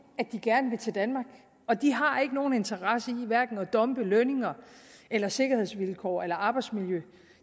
de gerne vil til danmark og de har ikke nogen interesse i at dumpe lønninger eller sikkerhedsvilkår eller arbejdsmiljø